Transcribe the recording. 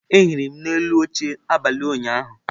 Ehiri m n'elu oche abalị ụnyaahụ.